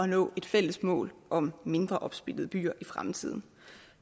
nå et fælles mål om mindre opsplittede byer i fremtiden